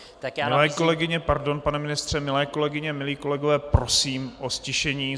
Milé kolegyně - pardon, pane ministře - milé kolegyně, milí kolegové, prosím o ztišení.